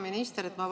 Hea minister!